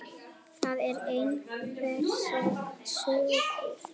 Það er einhver súgur.